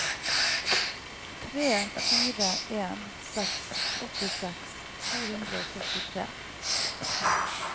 tre fire en seks åttiseks to hundre og syttitre